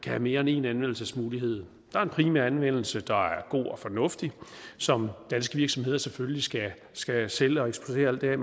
have mere end en anvendelsesmulighed der er en primær anvendelse der er god og fornuftig som danske virksomheder selvfølgelig skal skal sælge og eksportere alt hvad